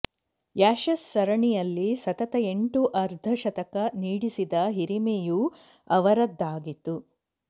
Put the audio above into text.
Ashes ಸರಣಿಯಲ್ಲಿ ಸತತ ಎಂಟು ಅರ್ಧಶತಕ ಸಿಡಿಸಿದ ಹಿರಿಮೆಯೂ ಅವರದ್ದಾಗಿತ್ತು